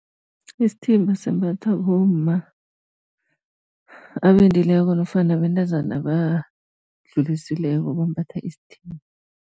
Isithimba simbathwa bomma abendileko nofana bentazana abadlulisileko bambatha isithimba.